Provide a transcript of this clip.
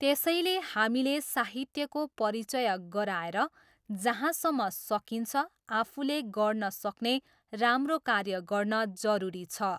त्यसैले हामीले साहित्यको परिचय गराएर, जहाँसम्म सकिन्छ, आफूले गर्नसक्ने राम्रो कार्य गर्न जरुरी छ।